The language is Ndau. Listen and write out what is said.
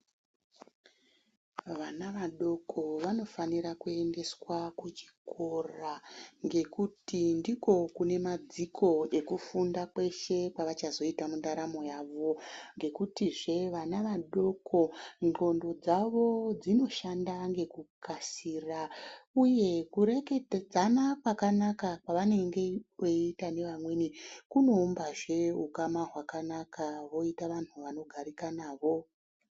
Vana vadoko vanofanira kuendeswa kuchikora ngekuti ndiko kune madziko ekufunda kweshe kwavachazoita mundaramo ngekutizve vana vadoko ndxondo dzawo dzinoshanda nekukasira uye kurekeketedzana kwakanaka kwavanenge veiita nevamweni kuno umbazve ukama hwakanaka voita vanhu vanogarika navo.